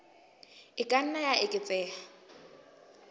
e ka nna ya eketseha